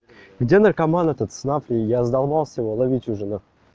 где наркоман это снова я задолбался ловить уже на хуй